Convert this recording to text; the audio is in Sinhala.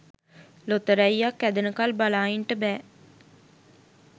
ලොතරැය්යක් ඇදෙනකල් බලා ඉන්ට බෑ.